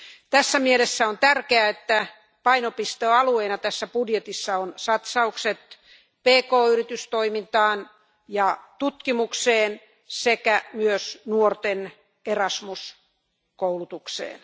Tässä mielessä on tärkeää, että painopistealueena tässä budjetissa on satsaukset pk yritystoimintaan ja tutkimukseen sekä myös nuorten Erasmus koulutukseen.